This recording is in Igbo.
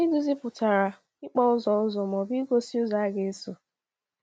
“Iduzi” pụtara “ịkpọ ụzọ ụzọ ma ọ bụ igosi ụzọ a ga-eso.”